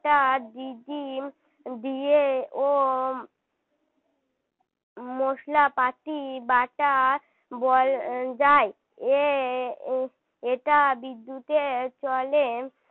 এটা দিয়েও মশলাপাতি বাটা বল যায় যে এটা বিদ্যুতের চলে